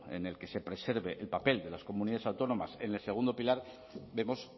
en el que se preserve el papel de las comunidades autónomas en el segundo pilar vemos